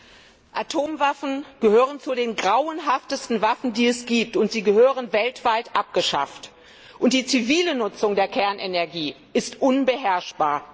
Herr Präsident! Atomwaffen gehören zu den grauenhaftesten Waffen, die es gibt, und sie gehören weltweit abgeschafft! Die zivile Nutzung der Kernenergie ist unbeherrschbar.